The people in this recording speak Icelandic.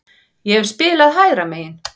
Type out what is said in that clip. Ég hef spilað hægra megin.